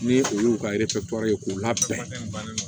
Ni olu y'u ka ye k'u labɔ